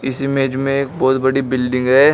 इस इमेज में एक बहुत बड़ी बिल्डिंग है।